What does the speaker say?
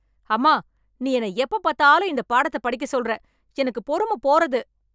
அம்மா நீ என்ன எப்பப் பாத்தாலும் இந்த பாடத்தை படிக்க சொல்ற எனக்கு பொறுமப் போறது!